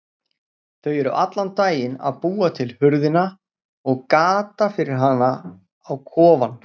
Þau eru allan daginn að búa til hurðina og gatið fyrir hana á kofann.